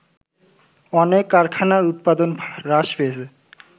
অনেক কারখানার উৎপাদন হ্রাস পেয়েছে